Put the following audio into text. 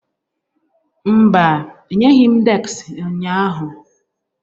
Mba, enyeghị m deski ụnyaahụ.